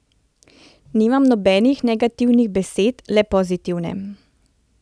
Nimam nobenih negativnih besed, le pozitivne.